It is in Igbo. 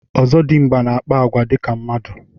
Ọzọdimgba na akpa agwa ka mmadụ.